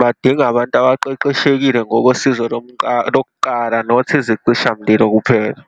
badinga abantu abaqeqeshekile ngosizo lokuqala not isicishamlilo kuphela.